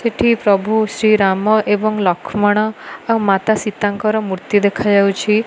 ଏଠି ପ୍ରଭୁ ଶ୍ରୀ ରାମ ଏବଂ ଲକ୍ଷ୍ମଣ ଆଉ ମାତା ସୀତାଙ୍କର ମୃତ୍ତି ଦେଖା ଯାଉଛି।